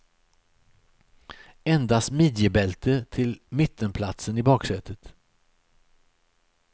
Endast midjebälte till mittenplatsen i baksätet.